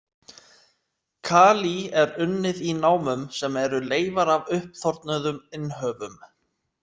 Kalí er unnið í námum sem eru leifar af uppþornuðum innhöfum.